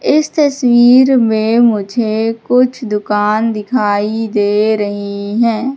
इस तस्वीर में मुझे कुछ दुकान दिखाई दे रही हैं।